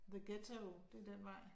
The ghetto, det den vej